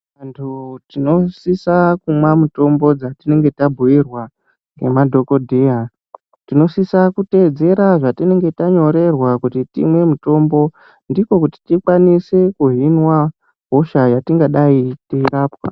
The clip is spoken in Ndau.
Vantu tinosisa kumwa mitombo dzatinenge tabhuyirwa ngemadhokodheya, tinosisa kuteedzera zvatinenge tanyorerwa kuti timwe mitombo ndiko kuti tikwanise kuhinwa hosha yatingadai teirapwa.